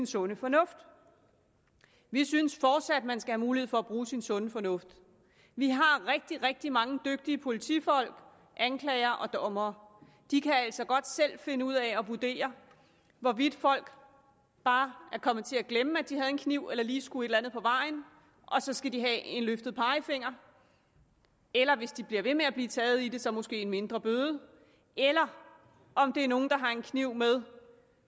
sunde fornuft vi synes fortsat at man skal have mulighed for at bruge sin sunde fornuft vi har rigtig rigtig mange dygtige politifolk anklagere og dommere de kan altså godt selv finde ud af at vurdere hvorvidt folk bare er kommet til at glemme at de havde en kniv eller lige skulle et eller andet på vejen og så skal de have en løftet pegefinger eller hvis de bliver ved med at blive taget i det så måske en mindre bøde eller om det er nogle der har en kniv med